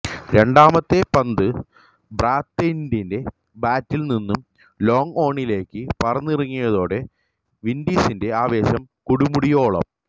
രണ്ടാമത്തെ പന്ത് ബ്രാത്ത്വെയ്റ്റിന്റെ ബാറ്റില് നിന്നു ലോങ്ഓണിലേക്ക് പറന്നിറങ്ങിയതോടെ വിന്ഡീസിന്റെ ആവേശം കൊടുമുടിയോളം